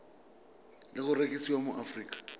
le go rekisiwa mo aforika